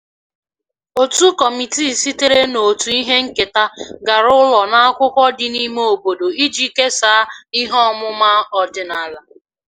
Otu kọmitii sitere na otu ihe nketa gara ụlọ n'akwụkwọ dị n'ime obodo iji kesaa ihe ọmụma ọdịnala